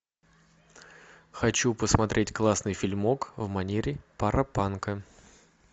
хочу посмотреть классный фильмок в манере паропанка